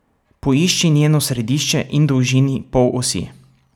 Poišči njeno središče in dolžini polosi.